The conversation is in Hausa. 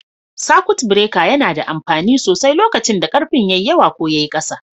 Sakut bireka yana da amfani sosai lokacin da karfin yawa ko yayi ƙasa.